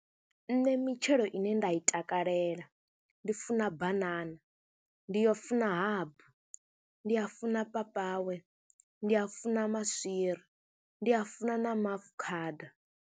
Nṋe mitshelo ine nda i takalela ndi funa banana, ndi ya funa habu, ndi a funa papawe, ndi a funa maswiri, ndi a funa na maafukhada.